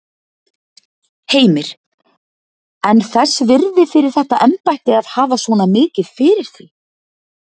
Heimir: En þess virði fyrir þetta embætti að hafa svona mikið fyrir því?